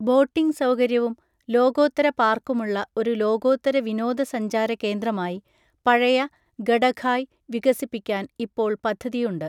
Boating സൗകര്യവും ലോകോത്തര പാർക്കുമുള്ള ഒരു ലോകോത്തര വിനോദസഞ്ചാര കേന്ദ്രമായി, പഴയ ഗഡഖായ് വികസിപ്പിക്കാൻ ഇപ്പോൾ പദ്ധതിയുണ്ട്.